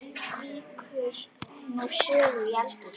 Víkur nú sögunni í eldhús.